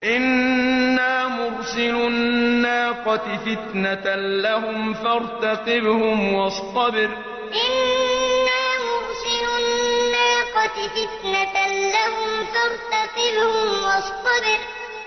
إِنَّا مُرْسِلُو النَّاقَةِ فِتْنَةً لَّهُمْ فَارْتَقِبْهُمْ وَاصْطَبِرْ إِنَّا مُرْسِلُو النَّاقَةِ فِتْنَةً لَّهُمْ فَارْتَقِبْهُمْ وَاصْطَبِرْ